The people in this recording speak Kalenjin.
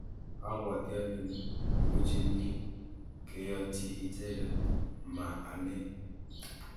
abwati ale muchini keyotyi icheket ma ane